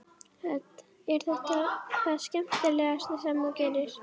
Hödd: Er þetta það skemmtilegasta sem þú gerir?